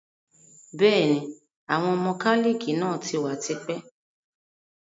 Bẹ́ẹ̀ni, Àwọn mọ́kálíkì náà tí wá tipẹ́